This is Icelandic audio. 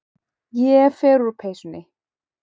Ég fer úr peysunni.